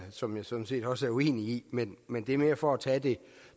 som jeg sådan set også er uenig i men men det er mere for at tage det